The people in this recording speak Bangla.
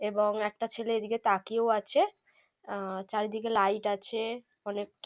এবং একটা ছেলে এদিকে তাকিয়েও আছে। আহ চারিদিকে লাইট আছে অনেক --